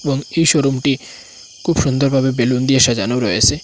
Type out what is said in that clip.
এবং এই শোরুমটি খুব সুন্দর ভাবে বেলুন দিয়ে সাজানো রয়েসে।